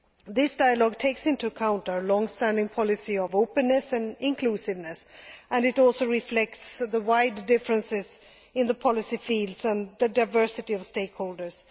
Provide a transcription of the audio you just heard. This dialogue takes into account our long standing policy of openness and inclusiveness and it also reflects the wide differences in the policy fields and the diversity of stakeholders.